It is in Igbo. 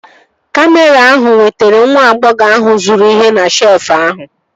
Kamịra ahụ nwetara nwa agbọghọ ahụ zụrụ ihe na shelfụ ahụ